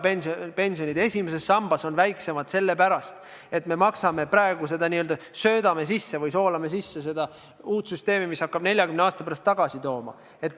Tänase päeva pensionid esimeses sambas on väiksemad sellepärast, et me maksame praegu sellesse teise sambasse, n-ö söödame või soolame sisse seda uut süsteemi, mis hakkab 40 aasta pärast tagasi tootma.